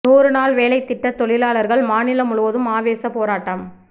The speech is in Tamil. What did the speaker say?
நூறுநாள் வேலைத்திட்ட தொழிலாளர்கள் மாநிலம் முழுவதும் ஆவேச போராட்டம்